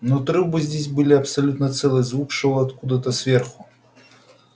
но трубы здесь были абсолютно целые звук шёл откуда-то сверху